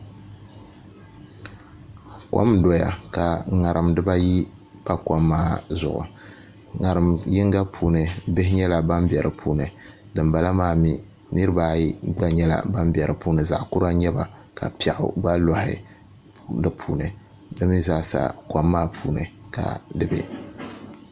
Kom n doya ka ŋarim dibayi pa kom maa zuɣu ŋarim yinga puuni bihi nyɛla ban bɛ di puuni dinbala maa mii niraba ayi gba nyɛla ban bɛ di puuni zaɣ kura n nyɛba ka piɛɣu gba loɣi di puuni di mii zaasa kom maa puuni ka di bɛ